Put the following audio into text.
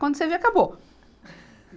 Quando você vê, acabou.